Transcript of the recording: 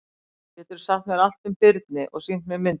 Geturðu sagt mér allt um birni og sýnt mér myndir?